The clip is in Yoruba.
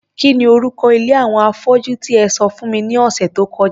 Kí ni orúko ilé àwọn afọ́jú tí e sọ fún mi ní ọ̀sẹ̀ tó kọjá?